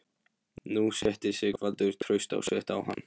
Nú setti Sigvaldi traust sitt á hann.